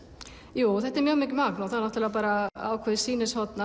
jú þetta er mjög mikið magn og ákveðið sýnishorn